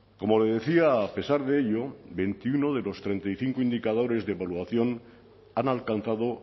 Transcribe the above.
como le decía a pesar de ello veintiuno de los treinta y cinco indicadores de evaluación han alcanzado